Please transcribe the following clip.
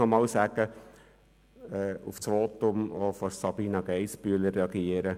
Ich möchte noch auf das Votum von Sabina Geissbühler reagieren.